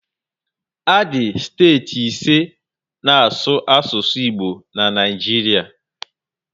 Adị steeti ise na asụ asụsụ Igbo na Naijiria